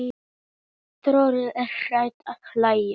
Þórður er hættur að hlæja.